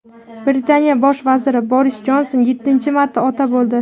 Britaniya Bosh vaziri Boris Jonson yettinchi marta ota bo‘ldi.